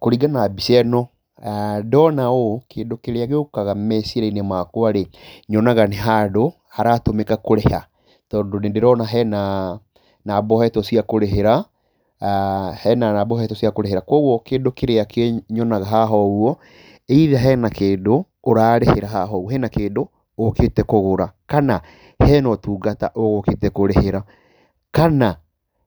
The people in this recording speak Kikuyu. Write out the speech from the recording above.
Kũringana na mbica-ino, ndoona ũũ kĩndũ kĩrĩa gĩũkaga meciria-inĩ makwarĩ nyonaga nĩ handũ, haratũmĩka kũrĩha tondũ nĩndĩrona hena namba ũhetwo cia kũrĩhĩra koguo kĩndũ kĩrĩa nyonaga haha either hena kĩndũ ũrarĩhĩra haha ũguo hena kĩndũ ũũkĩte kũgũra kana hena ũtungata ũgũkĩte kũrĩhĩra kana